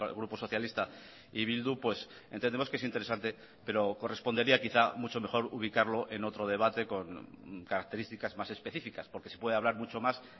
grupo socialista y bildu pues entendemos que es interesante pero correspondería quizá mucho mejor ubicarlo en otro debate con características más específicas porque se puede hablar mucho más